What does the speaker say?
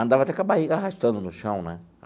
Andava até com a barriga arrastando no chão, né?